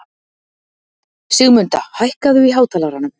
Sigmunda, hækkaðu í hátalaranum.